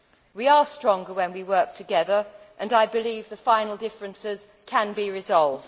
We are stronger when we work together and I believe the final differences can be resolved.